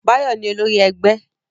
Báyọ̀ ni olori ẹgbẹ́.